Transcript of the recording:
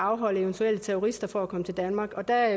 afholde eventuelle terrorister fra at komme til danmark og der